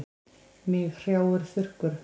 Mig hrjáir þurrkur.